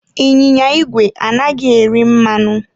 Ịnyịnya igwe anaghị eri mmanụ.